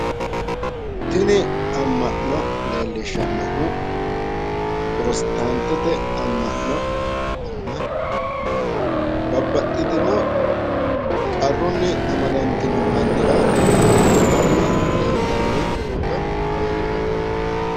Tini amma'no leellishshannohu protestantete amma'no na babbaxxitino qarrunni amadantino mannira huuccitanni leeltanni noota leeliishanno.